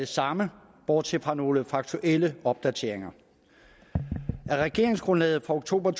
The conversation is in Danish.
det samme bortset fra nogle faktuelle opdateringer af regeringsgrundlaget fra oktober